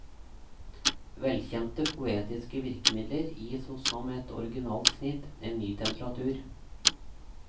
Velkjente poetiske virkemidler gis hos ham et originalt snitt, en ny temperatur.